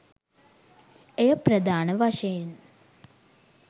එය ප්‍රධාන වශයෙන්